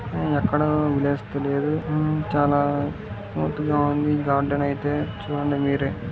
ఎక్కడా లేదు చాల మోటుగా వుంది గార్డెన్ అయితే చుడండి మీరే --